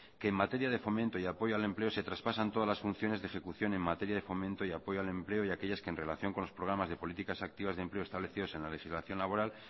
que en materia de fomento y apoyo al empleo se traspasan todas las funciones de ejecución en materia de fomento y apoyo al empleo y aquellas que en relación con los programas de políticas activas de empleo establecidos en la legislación laboral